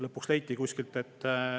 Lõpuks leiti kuskilt.